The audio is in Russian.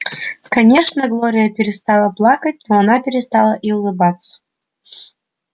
конечно глория перестала плакать но она перестала и улыбаться